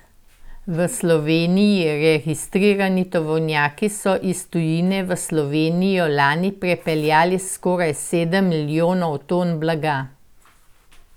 V Sloveniji registrirani tovornjaki so iz tujine v Slovenijo lani prepeljali skoraj sedem milijonov ton blaga.